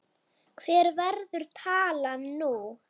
Hver verður talan nú?